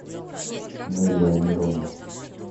неля амировна